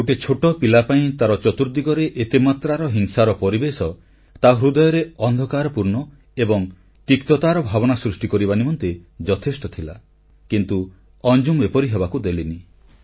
ଗୋଟିଏ ଛୋଟ ପିଲା ପାଇଁ ତାର ଚତୁର୍ଦ୍ଦିଗରେ ଏତେମାତ୍ରାର ହିଂସାର ପରିବେଶ ତା ହୃଦୟରେ ଅନ୍ଧକାରପୂର୍ଣ୍ଣ ଏବଂ ତିକ୍ତତାର ଭାବନା ସୃଷ୍ଟି କରିବା ନିମନ୍ତେ ଯଥେଷ୍ଟ ଥିଲା କିନ୍ତୁ ଅଞ୍ଜୁମ ଏପରି ହେବାକୁ ଦେଲେନି